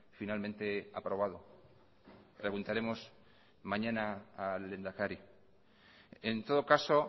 finalmente aprobado preguntaremos mañana al lehendakari en todo caso